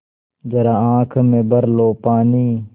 ज़रा आँख में भर लो पानी